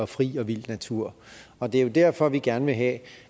fri og vild natur og det er jo derfor vi gerne vil have